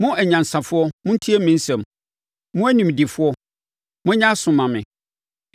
“Mo anyansafoɔ, montie me nsɛm; mo animdefoɔ monyɛ aso mma me.